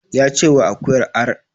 Ya ce wa akuyar ar!